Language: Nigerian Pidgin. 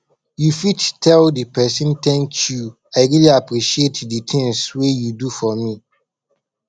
you fit tell di person thank you i really appreciate di things wey you do for me